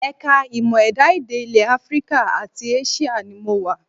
Ẹ̀ka ìmọ̀ ẹ̀dá-èdè ilẹ̀ Africa àti Asia ni mo wà